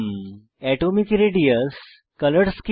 atomic radius পারমাণবিক radius colour scheme